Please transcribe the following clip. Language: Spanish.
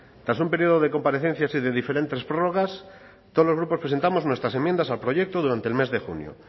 tras un periodo de comparecencias y de diferentes prórrogas todos los grupos presentamos nuestras enmiendas al proyecto durante el mes de junio